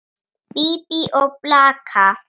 Bíbí og blaka.